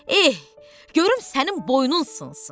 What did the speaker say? Eh, görüm sənin boynun sınsın!